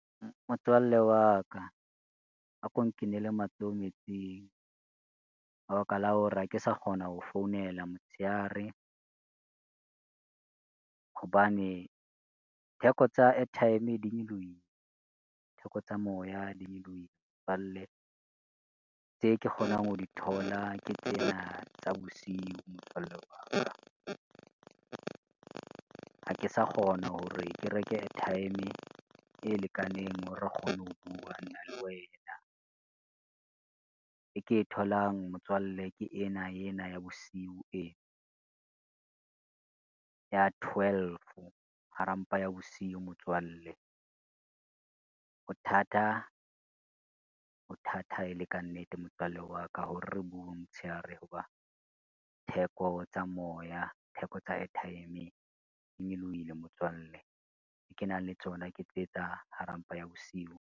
Motswalle wa ka, a ko nkinele matsoho metsing ka baka la hore ha ke sa kgona ho founela motshehare, hobane theko tsa airtime e di nyolohile, theko tsa moya di nyolohile motswalle, tse ke kgonang ho di thola ke tsena tsa bosiu motswalle wa ka. Ha ke sa kgona hore ke reke airtime e lekaneng hore re kgone ho bua nna le wena, e ke e tholang motswalle ke ena ya bosiu ena ya twelve hara mpa ya bosiu motswalle. Hothata, hothata e le ka nnete motswalle wa ka hore re bueng motshehare ho ba theko tsa moya, theko tsa airtime di nyolohile motswalle tse ke nang le tsona ke tse tsa hara mpa ya bosiu.